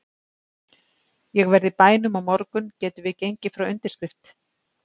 Ég verð í bænum á morgun getum við gengið frá undirskrift?